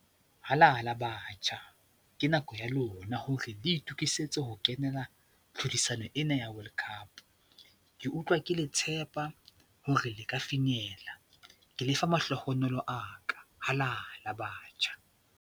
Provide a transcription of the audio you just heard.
Halala Batjha! Ke nako ya lona hore le itokisetse ho kenela tlhodisano ena ya World Cup. Ke utlwa ke le tshepa hore le ka finyella. Ke le fa mahlohonolo a ka. Halala batjha!